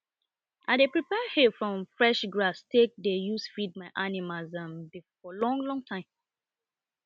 i dey prepare hay from fresh grass take dey use feed my animals um for long long time